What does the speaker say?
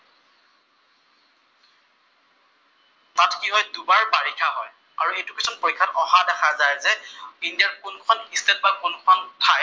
তাত কি হয়, দুবাৰ বাৰিষা হয়। আৰু এইটো কোৱেচন পৰীক্ষাত অহা দেখা যায় যে ইণ্ডিয়াৰ কোনখন ষ্টেটত বা কোন খন ঠাইত